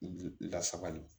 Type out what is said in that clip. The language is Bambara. Lasabali